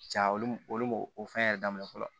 Ja olu b'o o fɛn yɛrɛ daminɛ fɔlɔ